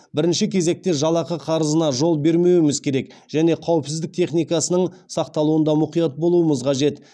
бірінші кезекте жалақы қарызына жол бермеуіміз керек және қауіпсіздік техникасының сақталуында мұқият болуымыз қажет